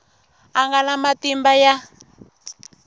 a nga na matimba ya